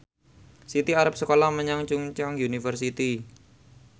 Siti arep sekolah menyang Chungceong University